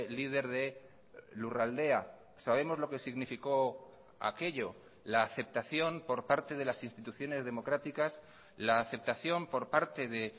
líder de lurraldea sabemos lo que significó aquello la aceptación por parte de las instituciones democráticas la aceptación por parte de